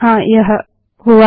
हाँ यह हुआ